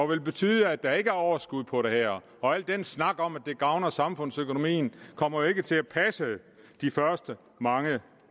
vil betyde at der ikke er overskud på det her al den snak om at det gavner samfundsøkonomien kommer jo ikke til at passe de første mange